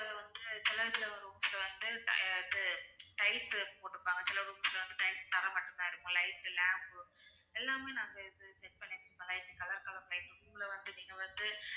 அதுல வந்து சில இதுல rooms ல வந்து அஹ் இது tiles போட்டிருப்பாங்க சில rooms ல வந்து tiles தரை மட்டும் தான் இருக்கு light lamp எல்லாமே நாங்க இது set பண்ணி வெச்சிருக்கோம் light color color light உள்ள வந்து நீங்க வந்து